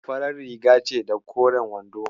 Farar riga ce da koren wando.